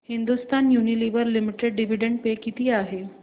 Hindustan Unilever Limited dividend pay किती आहे